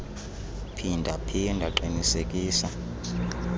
phinda phinda qinisekisa